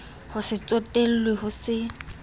ho se tsotellwe ho se